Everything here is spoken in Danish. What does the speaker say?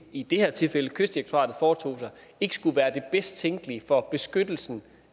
i det her tilfælde kystdirektoratet foretog sig ikke skulle være det bedst tænkelige for beskyttelsen